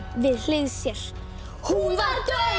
við hlið sér hún var dauð